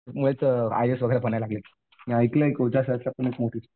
I A S वगैरे बनायला लागलेत. मी ऐकलंय